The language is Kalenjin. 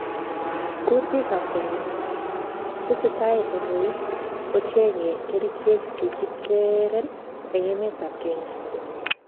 Kutiik ab corona: Tesetai kanyoik kochenge kerichek chekiteren en emet ab Kenya